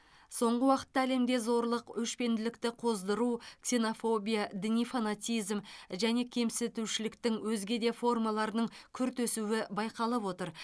соңғы уақытта әлемде зорлық өшпенділікті қоздыру ксенофобия діни фанатизм және кемсітушіліктің өзге де формаларының күрт өсуі байқалып отыр